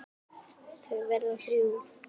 Þau verða þrjú.